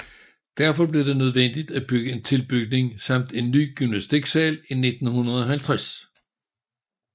Derfor blev det nødvendigt at bygge en tilbygning samt en ny gymnastiksal i 1950